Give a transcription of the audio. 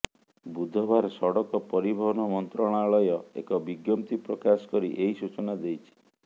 ବୁଧବାର ସଡ଼କ ପରିବହନ ମନ୍ତ୍ରଣାଳୟ ଏକ ବିଜ୍ଞପ୍ତି ପ୍ରକାଶ କରି ଏହି ସୂଚନା ଦେଇଛି